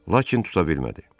Lakin tuta bilmədi.